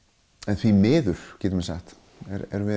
því miður getum við sagt erum við